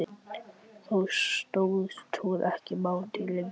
Þá stóðst hún ekki mátið lengur.